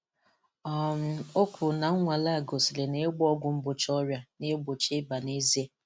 um O kwuru na 'nnwale a gosiri na ịgba ọgwụ mgbochi ọrịa na-egbochi ịba n'ezie'